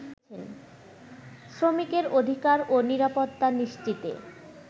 শ্রমিকের অধিকার ও নিরাপত্তা নিশ্চিতে